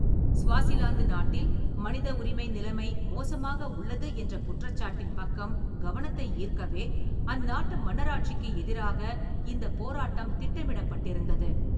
Swaziland நாட்டில் மனித உரிமை நிலைமை மோசமாக உள்ளது என்ற குற்றச்சாட்டின் பக்கம் கவனத்தை ஈர்க்கவே, அந்நாட்டு மன்னராட்சிக்கு எதிராக இந்தப் போராட்டம் திட்டமிடப்பட்டிருந்தது.